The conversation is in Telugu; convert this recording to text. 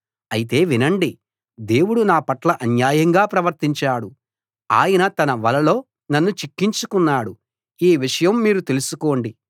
అయితే వినండి దేవుడు నాపట్ల అన్యాయంగా ప్రవర్తించాడు ఆయన తన వలలో నన్ను చిక్కించుకున్నాడు ఈ విషయం మీరు తెలుసుకోండి